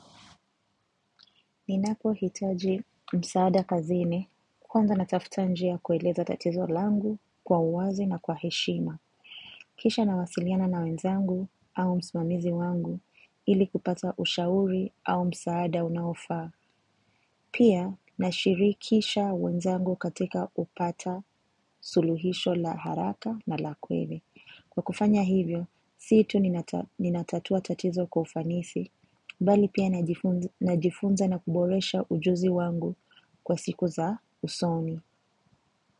Ninakohitaji msaada kazini kwanza natafuta njia ya kueleza tatizo langu kwa uwazi na kwa heshima. Kisha nawasiliana na wenzangu au msimamizi wangu ili kupata ushauri au msaada unaofaa. Pia nashirikisha wenzangu katika kupata suluhisho la haraka na la kweli. Kwa kufanya hivyo, si tu ninatatua tatizo kwa ufanisi. Bali pia najifunza na kuboresha ujuzi wangu kwa siku za usoni.